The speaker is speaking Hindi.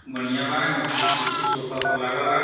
मढीयाँ बा एमें कु कुर्सी सोफा -ओफा लागल बा।